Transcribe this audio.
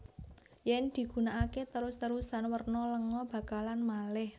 Yen digunakake terus terusan werna lenga bakalan maleh